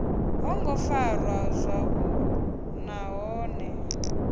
ho ngo farwa zwavhuḓi nahone